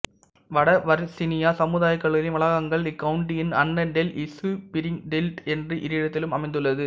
வட வர்சீனியா சமுதாய கல்லூரியின் வளாகங்கள் இக்கவுண்டியின் அன்னடேல் இசுபிரிங்பீல்ட் என்று இரு இடத்திலும் அமைந்துள்ளது